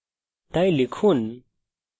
তাই লিখুন